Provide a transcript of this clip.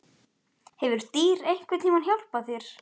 Hefur dýr einhvern tíma hjálpað þér?